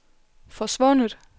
forsvundet